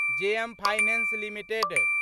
JM finance limited